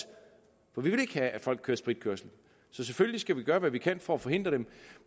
for vi vil ikke have at folk kører spritkørsel så selvfølgelig skal vi gøre hvad vi kan for at forhindre det